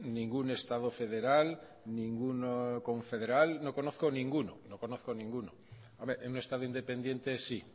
ningún estado federal ningún estado confederal no conozco ninguno hombre un estado independiente sí